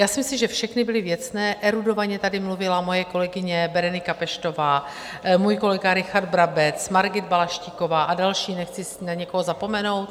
Já si myslím, že všechny byly věcné, erudovaně tady mluvila moje kolegyně Berenika Peštová, můj kolega Richard Brabec, Margita Balaštíková a další, nechci na někoho zapomenout.